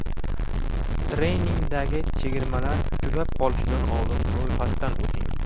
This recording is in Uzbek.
Treningdagi chegirmalar tugab qolishidan oldin ro‘yxatdan o‘ting!